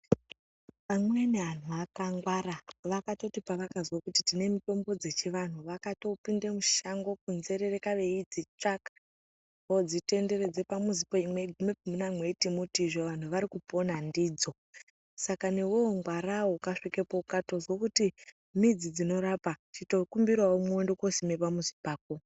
Amweni anhu akangwara ,vakati pavakatozwe kuti tine mitombo dzechivanhu vakato pinde mushango ,kunzereka veidzitavaka ,votenderedza pamuzi meiti muti izvo vantu varikupona ndidzo Saka newewo ngwarawo ukatozwe kuti midzi dzinorapa ,chitokumbirawo umwe unende kosime pamuzi pako.